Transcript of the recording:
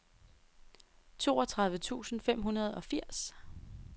toogtredive tusind fem hundrede og firs